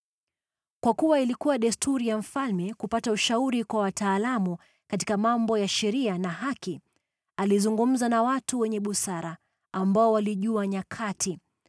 Kwa kuwa ilikuwa desturi ya mfalme kupata ushauri kwa wataalamu katika mambo ya sheria na haki, alizungumza na watu wenye busara, ambao walijua nyakati,